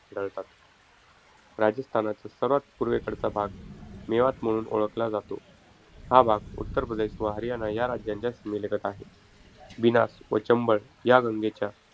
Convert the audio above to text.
आढळतात. राजस्थानचा सर्वात पूर्वेकडचा भाग मेवात म्हणून ओळखला जातो. हा भाग उत्तरप्रदेश व हरियाणा या राज्यांच्या सीमेलगत आहे. बिनास व चंबळ ह्या गंगेच्या,